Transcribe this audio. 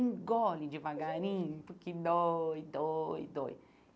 Engole devagarinho, porque dói, dói, dói.